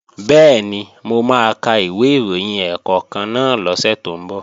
Bẹ́ẹ̀ni, mo máa ka ìwé ìròyìn ẹ̀ẹ̀kọ̀kan náà lọ́sẹ̀ tó ń bọ̀